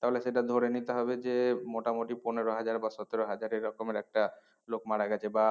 তাহলে সেটা ধরে নিয়ে হবে যে মোটামুটি পনেরো হাজার বা সতেরো হাজার এরকমের একটা লোক মারা গেছে বা